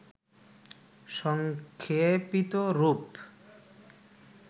সংক্ষেপিত রূপ